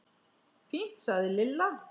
Fínt sagði Lilla.